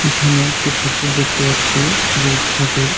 এখানে একটি ঠাকুর দেখতে পাচ্ছি দূর্গা ঠাকুর।